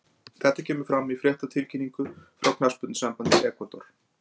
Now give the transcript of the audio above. Þetta kemur fram í fréttatilkynningu frá knattspyrnusambandi Ekvador.